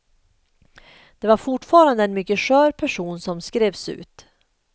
Det var fortfarande en mycket skör person som skrevs ut.